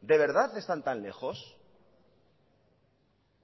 de verdad están tan lejos